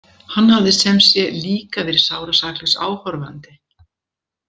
Hann hafði sem sé líka verið sárasaklaus áhorfandi.